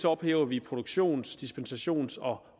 ophæver vi produktions dispensations og